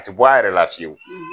A ti bɔ a yɛrɛ la fiyewu.